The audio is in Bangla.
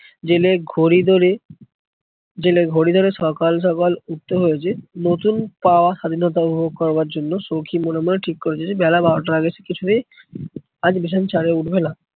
জেলে ঘড়ি ধরে জেলে ঘড়ি ধরে সকাল সকাল উঠতে হয়েছে, নতুন পাওয়া স্বাধীনতা উপভোগ করবার জন্য সৌখী মনে মনে ঠিক করেছে যে বেলা বারোটার আগে সে কিছুতেই আজ বিছানা ছাড়া উঠবেনা।